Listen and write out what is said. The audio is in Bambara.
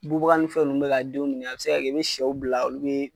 Bubaga ni fɛn ninnu bɛ k'a denw dun a bɛ se ka kɛ i be sɛw bila olu be